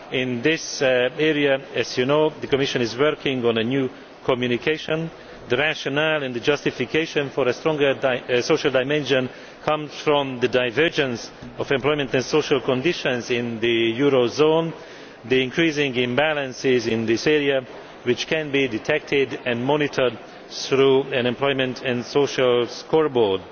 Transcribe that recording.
In this area, as you know, the Commission is working on a new communication. The rationale and the justification for a stronger social dimension comes from the divergence of employment and social conditions in the eurozone, the increasing imbalances in this area which can be detected and monitored through an employment and social scoreboard.